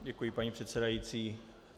Děkuji, paní předsedající.